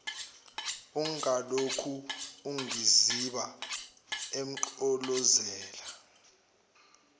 ungalokhu ungiziba emgqolozela